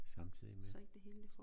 Samtidig med